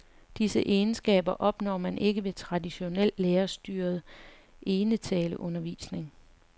Disse egenskaber opnår man ikke ved traditionel lærerstyret enetaleundervisning.